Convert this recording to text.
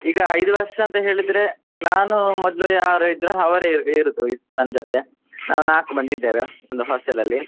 ಈಗ ಐದು ವರ್ಷ ಅಂತ ಹೇಳಿದ್ರೆ ನಾನು ಮೊದ್ಲು ಯಾರ್ ಇದ್ರು ಅವರೇ ಇರೂದು ನನ್ ಜೊತೆ ಆಹ್ ನಾಲ್ಕು ಮಂದಿ ಇದ್ದೇವೆ hostel ಅಲ್ಲಿ.